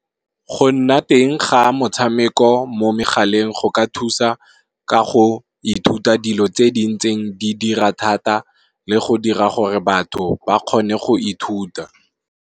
Go nna teng ga motshameko mo megaleng go ka thusa ka go ithuta dilo tse di ntseng di dira thata, le go dira gore batho ba kgone go ithuta.